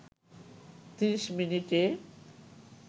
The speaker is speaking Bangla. ৩০ মিনিটে